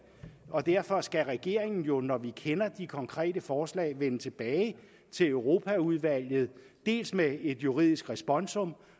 og derfor skal regeringen jo når vi kender de konkrete forslag vende tilbage til europaudvalget dels med et juridisk responsum